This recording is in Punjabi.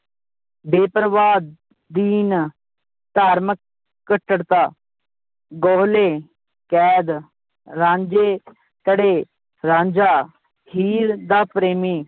ਬੇਪਰਵਾਹ, ਦੀਨ, ਧਾਰਮਿਕ, ਕੱਟੜਤਾ, ਗੋਹਲੇ, ਕੈਦ, ਰਾਂਝੇ ਰਾਂਝਾ, ਹੀਰ ਦਾ ਪ੍ਰੇਮੀ